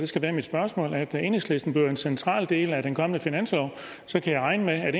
skal være mit spørgsmål at enhedslisten bliver en central del af den kommende finanslov så kan jeg regne med at